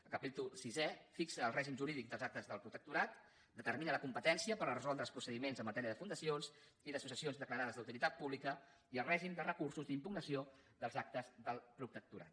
el capítol sisè fixa el règim jurídic dels actes del protectorat determina la competència per resoldre els procediments en matèria de fundacions i d’associacions declarades d’utilitat pública i el règim de recursos d’impugnació dels actes del protectorat